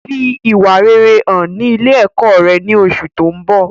Fi ìwà rere hàn ní ilé ẹ̀kọ́ rẹ ní oṣù tó ń bọ̀